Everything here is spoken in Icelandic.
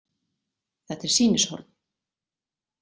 Þetta er sýnishorn.